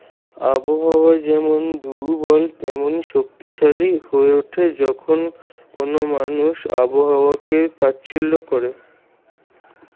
আবহাওয়া যেমন দূর্বল তেমন শক্তিশালী হয়ে উঠে যখন কোনো মানুষ আবহাওয়াকে তাচ্ছিল্য করে।